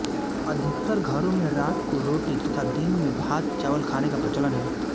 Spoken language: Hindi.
अधिकतर घरों में रात को रोटी तथा दिन में भात चावल खाने का प्रचलन है